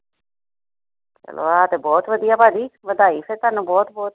ਚਲੋ ਆ ਤੇ ਬਹੁਤ ਵੱਧੀਆ ਭਾਜੀ ਵਧਾਈ ਫਿਰ ਤਹਾਨੂੰ ਬਹੁਤ ਬਹੁਤ